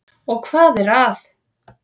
Og hvað er að?